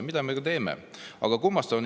Seda me ka teeme.